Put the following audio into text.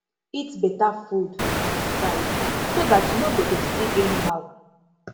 eat better food and exercise so dat you no go dey sick anyhow